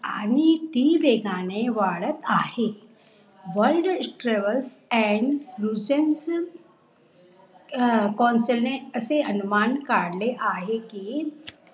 आणि ती वेगाने वारत आहे WORLD TRAVELS AND असे अनुमान कारले आहे कि